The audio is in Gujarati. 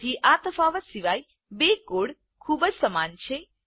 તેથી આ તફાવત સિવાય બે કોડ ખૂબ જ સમાન છે